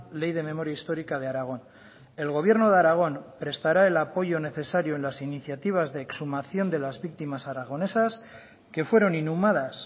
ley de memoria histórica de aragón el gobierno de aragón prestará el apoyo necesario en las iniciativas de exhumación de las víctimas aragonesas que fueron inhumadas